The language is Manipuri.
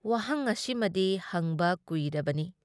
ꯋꯥꯍꯩꯡ ꯑꯁꯤꯃꯗꯤ ꯍꯪꯕ ꯀꯨꯏꯔꯕꯅꯤ ꯫